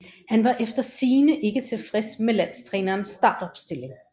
Han var efter sigende ikke tilfreds med landstrænerens startopstilling